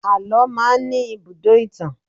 Àlọ́ máa ń ní ibùdó ìtàn.